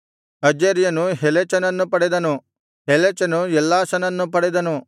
ಅಜರ್ಯನು ಹೆಲೆಚನನ್ನು ಪಡೆದನು ಹೆಲೆಚನು ಎಲ್ಲಾಸನನ್ನು ಪಡೆದನು